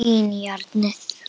Skín í járnið.